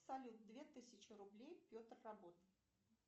салют две тысячи рублей петр работа